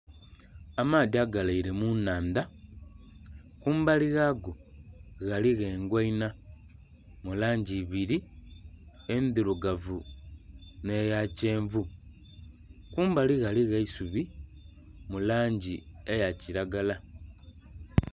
Amaadhi agalaire mu nnhandha, kumbali ghago ghaligho engoinha mu langi ibiri, endhirugavu nh'eya kyenvu. Kumbali ghaligho eisubi mu langi eya kilagala.